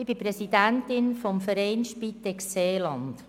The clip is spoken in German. Ich bin Präsidentin des Vereins «Spitex Seeland».